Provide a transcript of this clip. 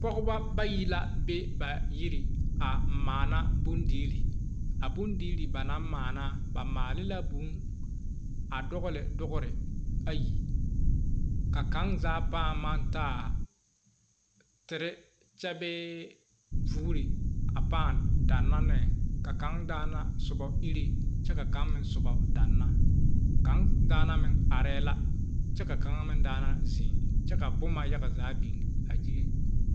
Pɔgeba bayi la be ba yiri a maana bondirii a bondirii ba na naŋ maala ba maale vūū a dogle dogri ayi ka kaŋazaa pãã maŋ taa tere kyɛ bee vɔgre pãã danna ne ka kaŋ daana soba ire kyɛ ka na soba danna kaŋa daana meŋ arɛɛ la kyɛ ka kaŋa daana zeŋ kyɛ ka boma yaga biŋ a gyili.